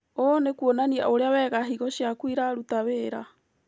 ũ nĩkuonania ũrĩa wega higo ciaku iraruta wĩra